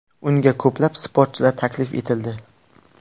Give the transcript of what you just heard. Unga ko‘plab sportchilar taklif etildi.